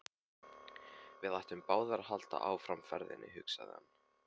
Við ættum báðir að halda áfram ferðinni, hugsaði hann.